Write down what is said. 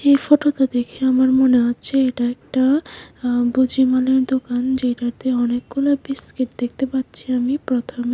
এই ফটোতা দেখে আমার মনে হচ্ছে এটা একটা আঃ বুজি মালের দোকান যেইটাতে অনেকগুলা বিস্কিট দেখতে পাচ্ছি আমি প্রথমে।